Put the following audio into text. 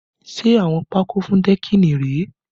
Ṣé awọ́n pakó fún dẹ́kìnì rèé?